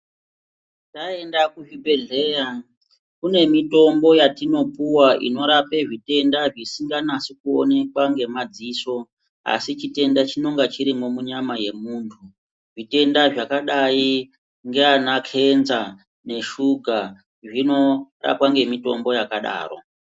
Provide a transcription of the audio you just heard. Mwaenda kuzvibhedhleya kune mitombo yatinopuwa inorape zvitenda zvisinganyasi kuonekwa ngemadziso asi chitenda chinenga chirimo munyama yemuntu zvitenda zvakadai ndiana kenza neshuga zvinorapwa ngemitombo yakadaro.